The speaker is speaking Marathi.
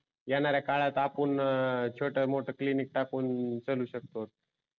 येणाऱ्या काळात आपुन अं छोट मोठ क्लिनिक टाकून चालू शकतो